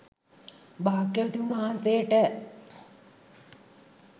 භාග්‍යවතුන් වහන්සේට